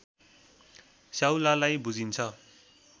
स्याउलालाई बुझिन्छ